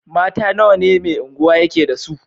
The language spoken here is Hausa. Mata nawa ne Mai Unguwa yake da su?